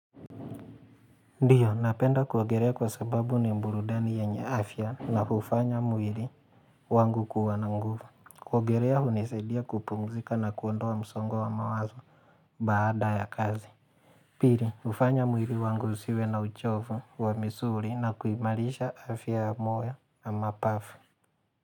Ndiyo, napenda kuogerea kwa sababu ni mburudani yanye afya na hufanya mwiri wangu kuwa na nguvu. Kuogelea, huniseidia kupumzika na kuonda msongo wa mawazo baada ya kazi. Pili, hufanya mwili wangu usiwe na uchovu wa misuli na kuimarisha afya ya moyo na mapafu.